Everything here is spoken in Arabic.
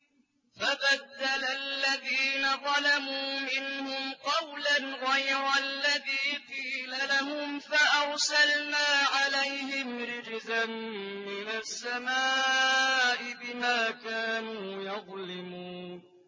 فَبَدَّلَ الَّذِينَ ظَلَمُوا مِنْهُمْ قَوْلًا غَيْرَ الَّذِي قِيلَ لَهُمْ فَأَرْسَلْنَا عَلَيْهِمْ رِجْزًا مِّنَ السَّمَاءِ بِمَا كَانُوا يَظْلِمُونَ